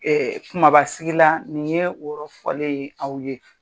kumabasigila nin ye o yɔrɔ fɔlen ye aw ye.